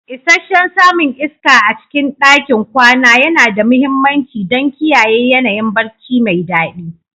Isasshen samun iska a cikin ɗakin kwana yana da mahimmanci don kiyaye yanayin barci mai daɗi.